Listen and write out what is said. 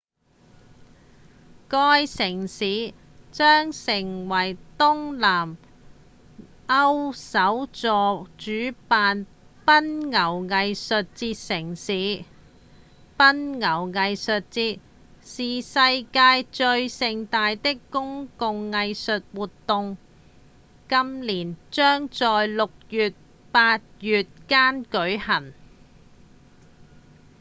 該城市將成為東南歐首座主辦奔牛藝術節城市奔牛藝術節是世界上最盛大的公共藝術活動今年將在六月到八月間舉辦